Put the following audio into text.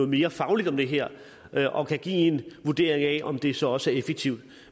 mere fagligt om det her her og kan give en vurdering af om det så også er effektivt